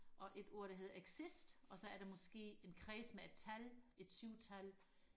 og et ord der hedder exist og så er der måske en kreds med et tal et syv tal